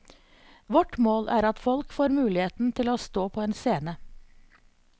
Vårt mål er at folk får muligheten til å stå på en scene.